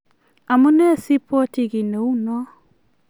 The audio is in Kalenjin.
amenee sibwait kiy neuno